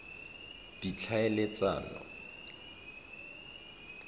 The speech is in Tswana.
ditlhaeletsano